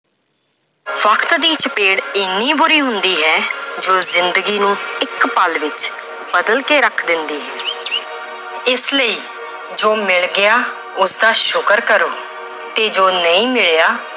ਵਕਤ ਦੀ ਚਪੇੜ ਇੰਨੀ ਬੁਰੀ ਹੁੰਦੀ ਹੈ ਜੋ ਜ਼ਿੰਦਗੀ ਨੂੰ ਇੱਕ ਪਲ ਵਿੱਚ ਬਦਲ ਕੇ ਰੱਖ ਦਿੰਦੀ ਹੈ ਇਸ ਲਈ ਜੋ ਮਿਲ ਗਿਆ ਉਸਦਾ ਸ਼ੁਕਰ ਕਰੋ ਤੇ ਜੋ ਨਹੀਂ ਮਿਲਿਆ